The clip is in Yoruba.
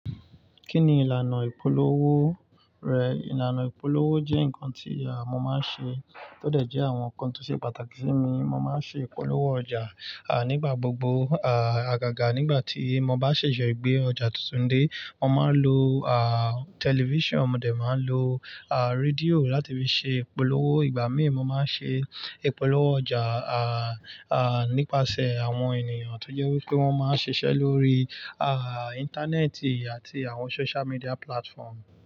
Kí ni ìlànà ìpolówó rẹ̀? Ìlànà ìpolówó jẹ́ ǹnkan tí mọ́ máa ń ṣe, tó dẹ̀ jẹ́ àwọn ǹnkan tó ṣe pàtàkì sí mi. Mo máa ń ṣe ìpolówó ọjà, nígbà gbogbo. Àgàgà nígbà tí mo bá ṣẹ̀ṣẹ̀ gbé ọjà tuntun dé, mo máa ń lo, tẹlifíṣàn, mo dẹ̀ máa ń lo, rédíò láti fi ṣe ìpolówó. Ìgbà míì mo máa ń ṣe ìpolówó ọjà, nípasẹ̀ àwọn ènìyàn tó jẹ́ wípé wọ́n máa ń ṣiṣẹ́ lórí, Íńtánẹ́ẹ̀tì àti àwọn social media platform.